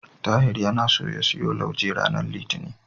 Tahir yana so ya siyo lauje ranar Litinin.